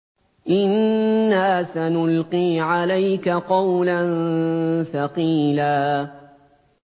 إِنَّا سَنُلْقِي عَلَيْكَ قَوْلًا ثَقِيلًا